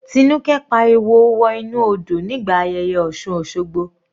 Tinuke pariwo wọ inú odò nígbà ayẹyẹ osun osogbo.